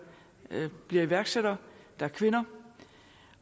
bliver iværksættere der er kvinder